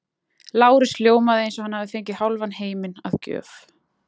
Lárus ljómaði eins og hann hefði fengið hálfan heiminn að gjöf.